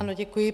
Ano, děkuji.